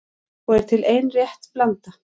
Og er til ein rétt blanda